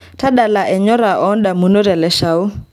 tadala enyora odamunot e leshao